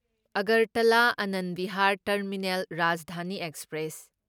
Agartala Anand Vihar terminal Rajdhani express